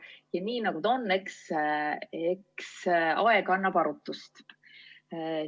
Ja nii ta on, eks aeg annab arutust.